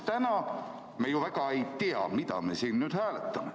Täna me ju väga ei tea, mida me siin nüüd hääletame.